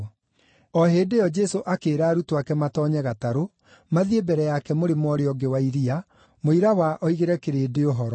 O hĩndĩ ĩyo Jesũ akĩĩra arutwo ake matoonye gatarũ, mathiĩ mbere yake mũrĩmo ũrĩa ũngĩ wa iria mũira wa oigĩre kĩrĩndĩ ũhoro.